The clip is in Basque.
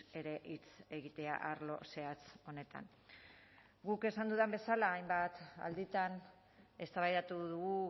ere hitz egitea arlo zehatz honetan guk esan dudan bezala hainbat alditan eztabaidatu dugu